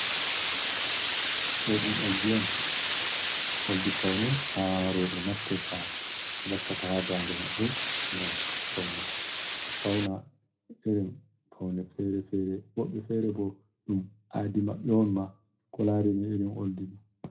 Ɗo ɗum oldi on, oldi pawne haa rowɓe naftirta wakkata haa daande maɓɓe ngam pawne. A fawna irin pawne fere fere, woɓɓe feere bo, ɗum aadi maɓɓe on ma, ko laarini irin oldi ɗo.